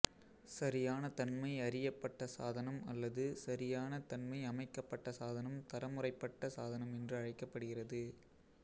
சரியான தன்மை அறியப்பட்ட சாதனம் அல்லது சரியான தன்மை அமைக்கப்பட்ட சாதனம் தரமுறைப்பட்ட சாதனம் என்று அழைக்கப்படுகிறது